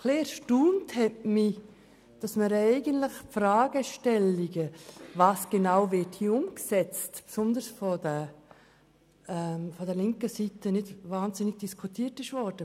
Etwas erstaunt hat mich, dass die Fragestellung, was hier eigentlich umgesetzt wird, besonders von der linken Seite nicht besonders diskutiert wurde.